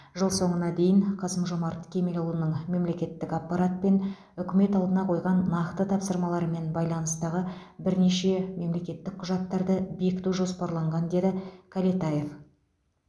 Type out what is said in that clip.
жыл соңына дейін қасым жомарт кемелұлының мемлекеттік аппарат пен үкімет алдына қойған нақты тапсырмалармен байланыстағы бірнеше мемлекеттік құжаттарды бекіту жоспарланған деді кәлетаев